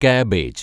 cabbage